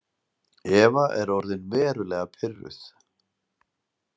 Eva er orðin verulega pirruð.